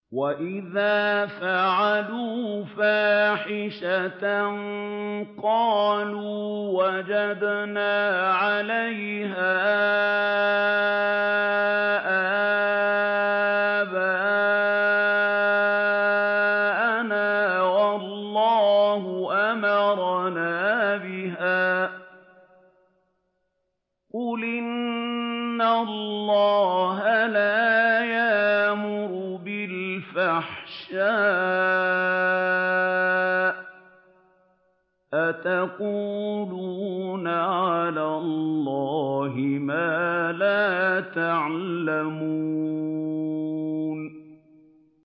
وَإِذَا فَعَلُوا فَاحِشَةً قَالُوا وَجَدْنَا عَلَيْهَا آبَاءَنَا وَاللَّهُ أَمَرَنَا بِهَا ۗ قُلْ إِنَّ اللَّهَ لَا يَأْمُرُ بِالْفَحْشَاءِ ۖ أَتَقُولُونَ عَلَى اللَّهِ مَا لَا تَعْلَمُونَ